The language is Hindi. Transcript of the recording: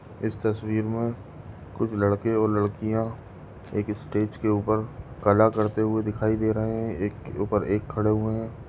इस तस्वीर मे कुछ लड़के और लडकीया एक स्टेज के उपर कला करते हुए दिखाई दे रहे है एक के उपर एक खड़े हुए है।